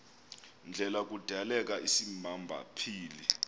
ndlela kudaleka isimaphambili